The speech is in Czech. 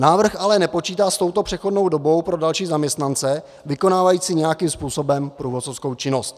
Návrh ale nepočítá s touto přechodnou dobou pro další zaměstnance vykonávající nějakým způsobem průvodcovskou činnost.